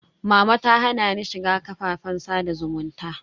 Mama ta hana ni shiga kafafen sada zumunta.